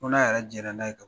Fo n'a yɛrɛ jɛna n'a ye